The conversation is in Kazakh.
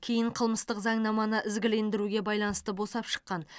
кейін қылмыстық заңнаманы ізгілендіруге байланысты босап шыққан